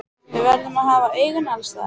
Við verðum að hafa augun alls staðar.